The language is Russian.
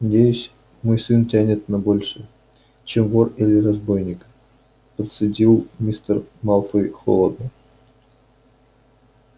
надеюсь мой сын тянет на большее чем вор или разбойник процедил мистер малфой холодно